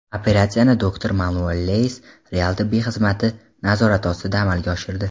"Operatsiyani doktor Manuel Leyes "Real" tibbiy xizmati nazorati ostida amalga oshirdi.